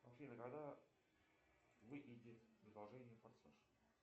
афина когда выйдет продолжение форсаж